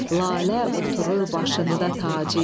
Lalə oturur başında tacı,